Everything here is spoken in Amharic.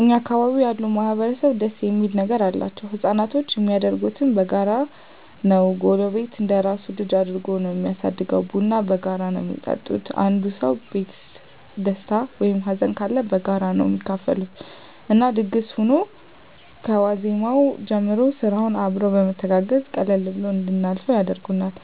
እኛ አካባቢ ያሉ ማህበረሰብ ደስ እሚል ነገር አላቸዉ። ህፃናቶች እሚያድጉት በጋራ ነዉ ጎረቤት እንደራሱ ልጅ አድርጎ ነዉ እሚያሳድገዉ፣ ቡና በጋራ ነዉ እሚጠጡት፣ አንዱ ሰዉ ቤት ደስታ ወይም ሀዘንም ካለ በጋራ ነዉ እሚካፈሉት እና ድግስ ሁኖ ከዋዜማዉ ጀምሮ ስራዉንም አብረዉ በመተጋገዝ ቀለል ብሎን እንድናልፈዉ ያደርጉናል።